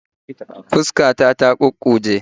Fuskar ta ta kukkuje